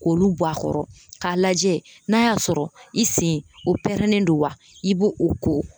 K'olu bɔ a kɔrɔ k'a lajɛ n'a y'a sɔrɔ i sen o pɛrɛnnen don wa i b'o o ko